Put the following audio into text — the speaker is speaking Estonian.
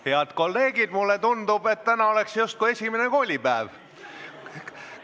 Head kolleegid, mulle tundub, et täna on justkui esimene koolipäev.